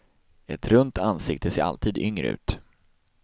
Ett runt ansikte ser alltid yngre ut.